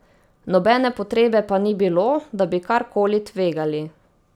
Nobene potrebe pa ni bilo, da bi kar koli tvegali.